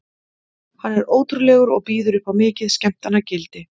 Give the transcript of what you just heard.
Hann er ótrúlegur og býður upp á mikið skemmtanagildi.